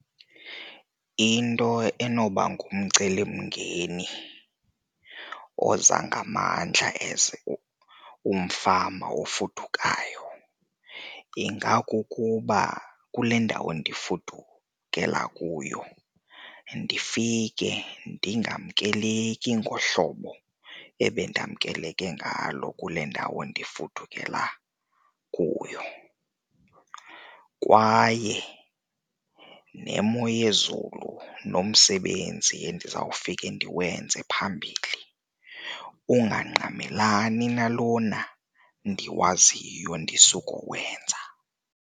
Into enoba ngumcelimngeni oza ngamandla as umfama ofudukayo ingakukuba kule ndawo ndifudukela kuyo ndifike ndingamkeleki ngohlobo ebendamkeleke ngalo kule ndawo ndifudukela kuyo. Kwaye nemo yezulu nomsebenzi endizawufike ndiwenze phambili ungangqamelani nalona nendiwaziyo ndisukowenza.